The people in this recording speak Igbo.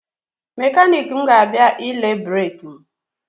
Mekaniki m ga-abịa ile breki m.